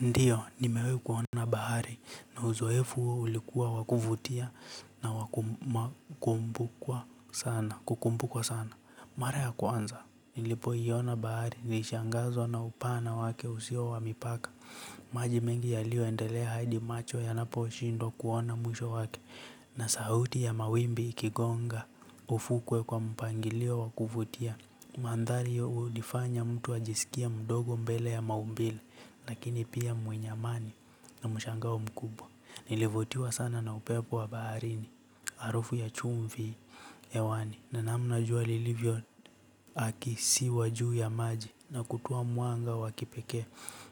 Ndiyo, nimewai kuona bahari na uzoefu huo ulikuwa wa kuvutia na kukumbukwa sana. Mara ya kwanza, nilipoiona bahari, nilishangazwa na upana wake usio wa mipaka. Maji mengi yaliyoendelea Hadi Macho yanaposhindwa kuona mwisho wake na sauti ya mawimbi ikigonga ufukwe kwa mpangilio wa kuvutia. Mandhari hiyo humfanya mtu ajisikie mdogo mbele ya maumbile lakini pia mwenye amani na mshangao mkubwa. Nilivutiwa sana na upepo wa baharini. Harufu ya chumvi hewani na namna jua lilivyo na kisiwa juu ya maji na kutua mwanga wa kipekee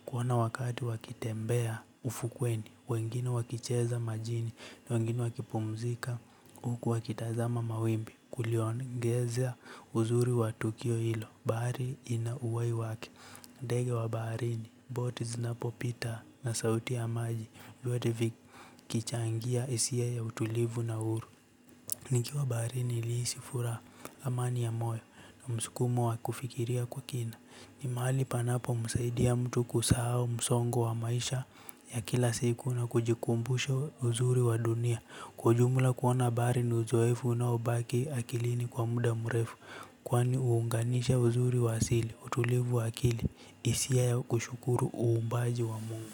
kuona wakati wakitembea ufukweni wengine wakicheza majini wengine wakipumzika huku wakitazama mawimbi kuliongezea uzuri wa tukio hilo, bahari ina uhai wake. Ndege wa baharini, boti zinapopita na sauti ya maji, vyote vikichangia hisia ya utulivu na uhuru. Nikiwa baharini nilihisi furaha amani ya moyo na msukumo wa kufikiria kwa kina. Ni mali panapomsaidia mtu kusahau msongo wa maisha ya kila siku na kujikumbusha uzuri wa dunia. Kwa ujumla kuona bahari ni uzoefu unaobaki akilini kwa muda mrefu kwani huunganisha uzuri wa asili utulivu wa akili hisia ya kushukuru uumbaji wa mungu.